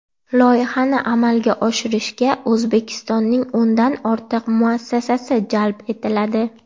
Loyihani amalga oshirishga O‘zbekistonning o‘ndan ortiq muassasasi jalb etiladi.